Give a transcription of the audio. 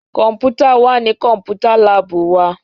Kọ́mpútà wà ní Kọ́mpútà láàbù wa